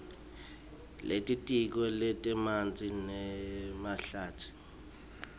lelitiko letemanti nemahlatsi